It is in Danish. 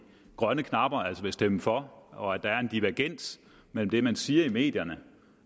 grønne knapper altså vil stemme for og at der er en divergens mellem det man siger i medierne